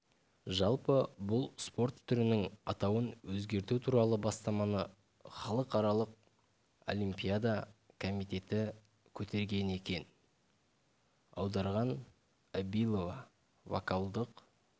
жалпы бұл спорт түрінің атауын өзгерту туралы бастаманы халықаралық олимпиада комитеті көтерген екен аударған абилова вокалдық